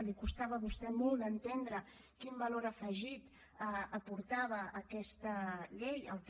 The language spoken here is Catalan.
li costava a vostè molt d’entendre quin valor afegit aportava aquesta llei al que